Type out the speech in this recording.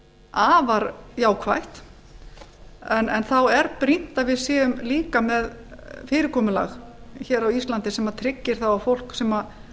afar jákvætt en hver brýnt að við séum eiga með fyrirkomulag á íslandi sem tryggir það að fólk sem